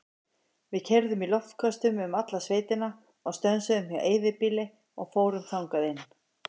Við keyrðum í loftköstum um alla sveitina og stönsuðum hjá eyðibýli og fórum þangað inn.